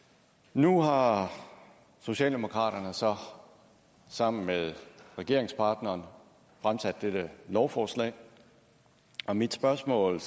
nu har socialdemokraterne så sammen med regeringspartneren fremsat dette lovforslag og mit spørgsmål